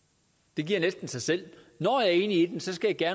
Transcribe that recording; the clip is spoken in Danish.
det giver næsten sig selv når jeg er enig i den skal jeg